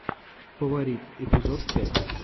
фаворит эпизод пять